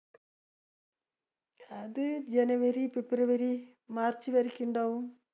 അത് ജനുവരി ഫെബ്രുവരി മാർച്ച്വരിക്കും ഇണ്ടാവും.